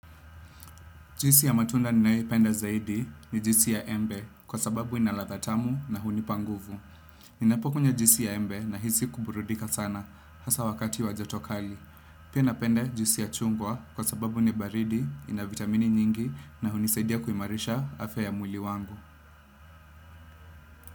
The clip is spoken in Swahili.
Juisi ya matunda ninayoipenda zaidi ni juisi ya embe kwa sababu ina latha tamu na hunipa nguvu. Ninapokunywa juisi ya embe nahisi kuburudika sana hasa wakati wa joto kali. Pia napenda juisi ya chungwa kwa sababu ni baridi ina vitamini nyingi na hunisaidia kuimarisha afya ya mwili wangu.